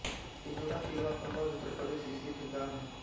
किनौरा तिरवा कन्नौज उत्तर प्रदेश स्थित एक गाँव है